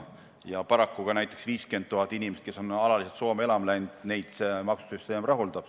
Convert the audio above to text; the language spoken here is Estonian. Ja ka neid 50 000 inimest, kes on Eestist alaliselt Soome elama läinud, sealne maksusüsteem rahuldab.